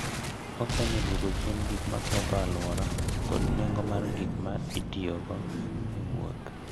Okonyo e duoko chien gik ma oketho alwora kod nengo mar gik ma itiyogo e wuoth.